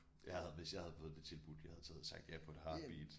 Jeg havde hvis jeg havde fået det tilbudt jeg havde taget sagt ja på et heartbeat